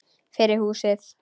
Fyrir húsið.